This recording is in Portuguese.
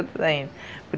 ainda.